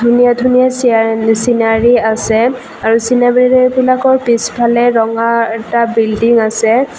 ধুনীয়া ধুনীয়া চিনাৰি আছে আৰু চিনাৰিবিলাকৰ পিছফালে ৰঙা এটা বিল্ডিং আছে।